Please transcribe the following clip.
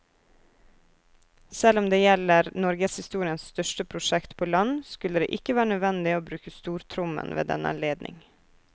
Selv om det gjelder norgeshistoriens største prosjekt på land, skulle det ikke være nødvendig å bruke stortrommen ved denne anledning.